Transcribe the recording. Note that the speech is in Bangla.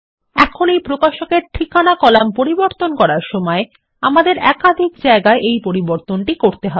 এখন এই প্রকাশক এর ঠিকানা কলাম পরিবর্তন করার সময় আমাদের একাধিক জায়গায় এই পরিবর্তনটি করতে হবে